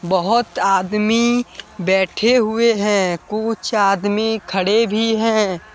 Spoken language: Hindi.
बहोत आदमी बैठे हुए हैं कुछ आदमी खड़े भी हैं।